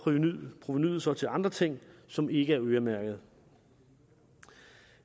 provenuet så til andre ting som ikke er øremærket